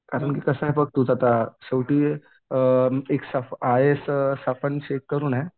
कारण की कसं आहे बघ तूच आता शेवटी अ एक आय ए एस शेख करून आहे.